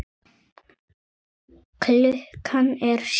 Klukkan er sjö!